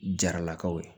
Jaralakaw ye